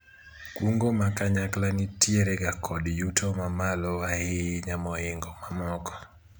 kungo ma kanyakla nitiere ga kod yuto mamalo ahinya moingo mamoko